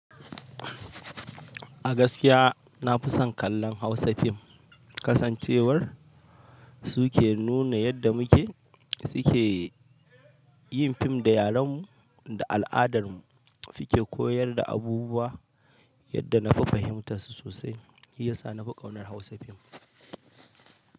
A gaskiya na fi son kallon Hausa fim. Kasancewar su ke nuna yadda muke, suke yin fim da yarenmu da al'adar mu, suke koyar da abubuwa yadda nafi fahimtar su sosai. Shi ya sa na fi ƙaunar Hausa fim.